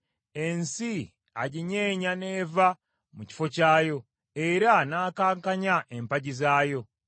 Ensi aginyeenya n’eva mu kifo kyayo era n’akankanya empagi zaayo.